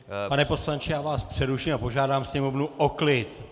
Pane poslanče, já vás přeruším a požádám sněmovnu o klid!